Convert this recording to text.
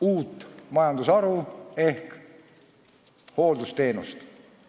Uut majandusharu ehk hooldusteenust.